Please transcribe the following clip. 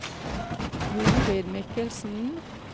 Jorid Michelsen